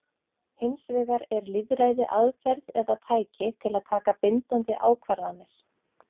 Hins vegar er lýðræði aðferð eða tæki til að taka bindandi ákvarðanir.